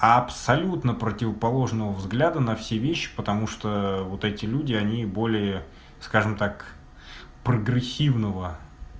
абсолютно противоположного взгляда на все вещи потому что вот эти люди они более скажем так прогрессивного